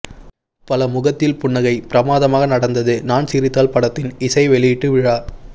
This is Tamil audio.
பல முகத்தில் புன்னகை பிரமாதமாக நடந்தது நான் சிரித்தால் படத்தின் இசை வெளியிட்டு விழா